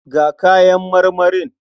Ga kayan marmarin.